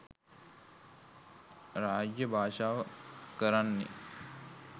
රාජ්‍ය භාෂාව කරන්නේ